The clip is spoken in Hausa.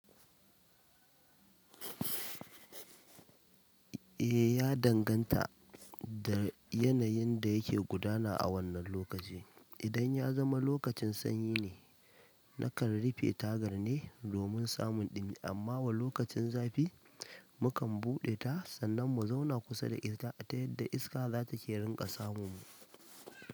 E, ya danganta da yanayin da yake gudana a wannan lokaci. Idan ya zama lokacin sanyi ne, nakan rufe tagar ne domin samun ɗumi. Amma wa lokacin zafi, mukan buɗe ta sannan mu zauna kusa da ita ta yadda iska za ta iya rinƙa samun mu.